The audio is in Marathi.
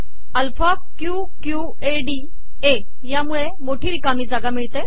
alpha Q Q A D A मोठी िरकामी जागा देत